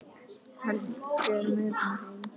Hann fer með hana heim.